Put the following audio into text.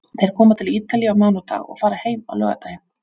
Þeir komu til Ítalíu á mánudag og fara heim á laugardaginn.